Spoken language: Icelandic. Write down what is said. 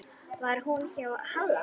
Var hún hjá Halla?